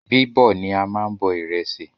Bíbọ̀ ni a máa n bọ ìrẹsì